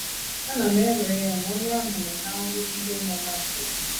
Ana m ewere ya na ewere ya na onye ahụ nọ ná nrụgide na ná nsogbu.